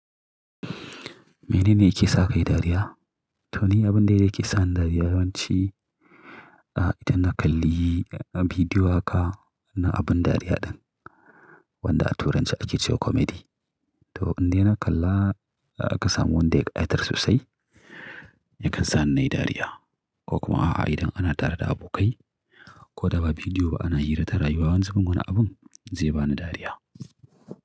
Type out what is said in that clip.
Mene ne yake sa kai dariya? To ni abin da yake sa ni dariya yawanci, idan na kalli bidiyo ka na abin dariya ɗin wanda a turance ake cewa comedy. To indai na kalla ka samu wanda ya ƙa'itar sosai yakan sa ni nayi dariya ko kuma idan ana tare da abokai ko da ba bidiyo ba ana hira ta rayuwa wanzu min wani abin zai bani dariya.